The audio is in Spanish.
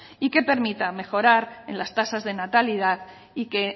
y que permita mejorar en las tasas de natalidad y que